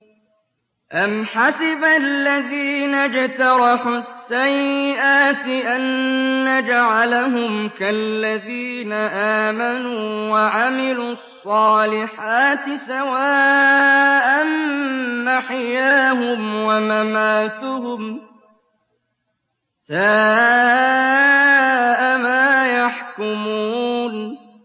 أَمْ حَسِبَ الَّذِينَ اجْتَرَحُوا السَّيِّئَاتِ أَن نَّجْعَلَهُمْ كَالَّذِينَ آمَنُوا وَعَمِلُوا الصَّالِحَاتِ سَوَاءً مَّحْيَاهُمْ وَمَمَاتُهُمْ ۚ سَاءَ مَا يَحْكُمُونَ